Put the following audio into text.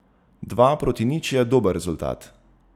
Dva proti nič je dober rezultat.